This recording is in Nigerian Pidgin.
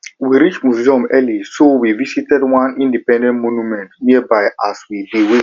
we reach museum early so we visit one independence monument nearby as we dey wait